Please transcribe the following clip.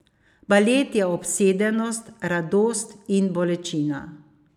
Balet je obsedenost, radost in bolečina.